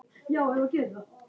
Því náði hann í janúar.